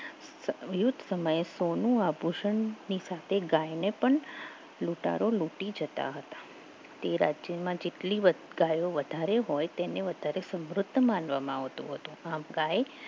યુદ્ધ સમયે સોનું આભૂષણ ની સાથે ગાયને પણ લૂંટારો લૂંટી જતા હતા તે રાજ્યમાં જેટલી ગાયો વધારે હોય તેને વધારે સમૃદ્ધ માનવા માં આવતું હતું ગાય